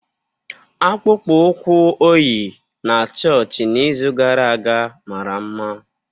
Akpụkpọ ụkwụ ọ yi na chọọchị n'izu gara aga mara mma